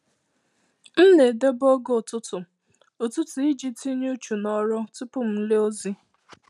M na-edobe ògè ụtụtu ụtụtu iji tinye uchu ná òrụ́ tupu m ele ozi.